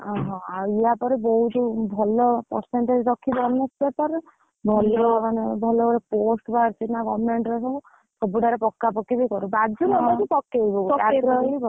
ଓହୋ ଆପରେ ବହୁତ ଭଲ, percentage ରଖିବା honours paper ରେ ଭଲ ମାନେ ଭଲଭଲ, post ବାହାରିଛି ନା government ରେ ସବୁ, ସବୁଠାରେ ପକାପକି ବି କର ବାଜୁ ନବାଜୁ ପକେଇବୁ ପକେଇବୁ।